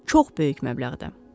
Çox böyük məbləğdə.